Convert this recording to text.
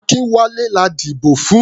Akínwálé la dìbò fún.